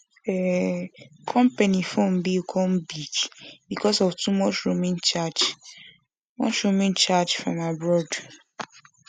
um company phone bill come big because of too much roaming charge much roaming charge from abroad